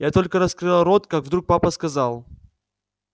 я только раскрыла рот как вдруг папа сказал